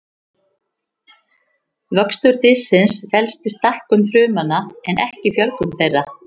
Vöxtur dýrsins felst í stækkun frumnanna en ekki fjölgun þeirra.